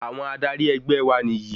Àwọn adarí ẹgbẹ́ wa nì yìí.